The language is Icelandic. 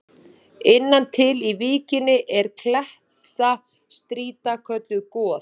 Innan til í víkinni er klettastrýta kölluð Goð.